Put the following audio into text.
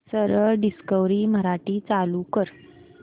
सरळ डिस्कवरी मराठी चालू कर